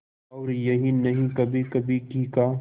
और यही नहीं कभीकभी घी का